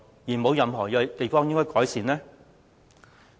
是否沒有任何應該改善的地方？